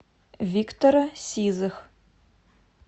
виктора сизых